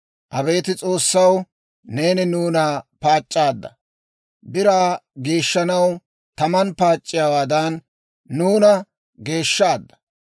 Abeet S'oossaw, neeni nuuna paac'c'aadda; biraa geeshshanaw taman paac'iyaawaadan, nuuna geeshshaadda.